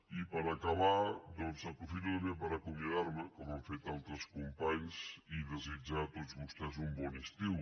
i per acabar doncs aprofito també per acomiadar me com han fet altres companys i desitjar a tots vostès un bon estiu